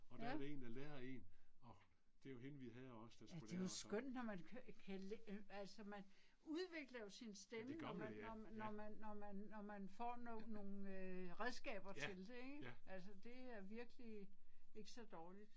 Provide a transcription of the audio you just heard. Ja. Ja det er jo skønt når man kan altså man udvikler jo sin stemme når man når når man når man når man får nogle redskaber til det ik, altså det er virkelig ikke så dårligt